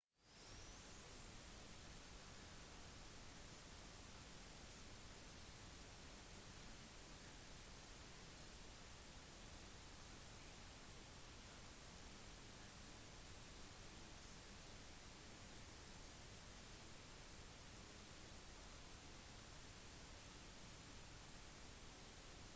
rapporter om at barn i tyrkia skal ha blitt smittet med fugleinfluensaviruset a h5n1 uten å bli syke gjorde at dr. lee ga uttrykk for sin bekymring